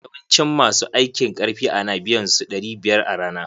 Yawancin ma su aiki karfi a na biyan su ɗari biyar a rana.